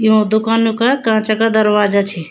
यूँ दुकानु का कांच का दरवाजा छी।